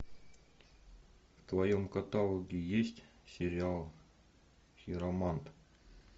в твоем каталоге есть сериал хиромант